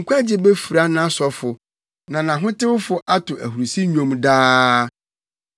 Mede nkwagye befura nʼasɔfo, na nʼahotewfo ato ahurusi nnwom daa.